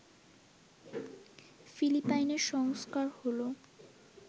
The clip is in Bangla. ফিলিপাইনের সংস্কার হল